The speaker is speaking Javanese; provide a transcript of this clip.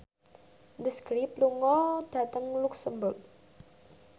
The Script lunga dhateng luxemburg